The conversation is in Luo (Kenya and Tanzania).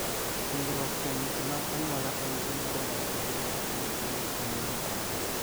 Puonjruok kuom weche mag anyuola en gima dwarore ahinya kapo ni tuwono en mar anyuola.